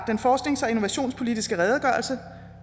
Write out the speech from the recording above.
den forsknings og innovationspolitiske redegørelse